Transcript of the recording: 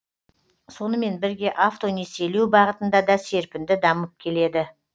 сонымен бірге автонесиелеу бағытында да серпінді дамып келеді